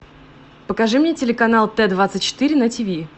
покажи мне телеканал т двадцать четыре на тиви